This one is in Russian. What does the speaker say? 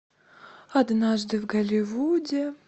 однажды в голливуде